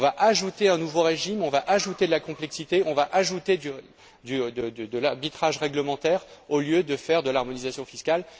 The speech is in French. On va ajouter un nouveau régime, on va ajouter de la complexité, on va ajouter de l'arbitrage réglementaire, au lieu de faire de l'harmonisation fiscale.